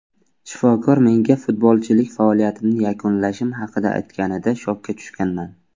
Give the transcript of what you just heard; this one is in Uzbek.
Shifokor menga futbolchilik faoliyatimni yakunlashim haqida aytganida shokka tushganman.